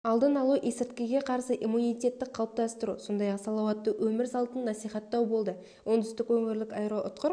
алдын алу есірткіге қарсы иммунитетті қалыптастыру сондай-ақ салауатты өмір салтын насихаттау болды оңтүстік өңірлік аэроұтқыр